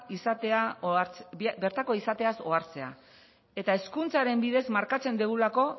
izateaz ohartzea eta hezkuntzaren bidez markatzen dugulako